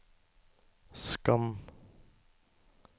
skann